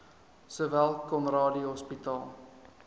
sowel conradie hospitaal